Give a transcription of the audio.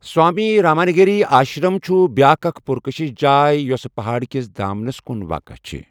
سوامی رامانگیری آشرم چھُ بیٛاکھ اکھ پُرکٔشش جاے، یوٚس پہاڑ کِس دامنَس کُن واقعہ چِھ ۔